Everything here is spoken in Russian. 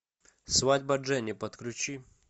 свадьба дженни подключи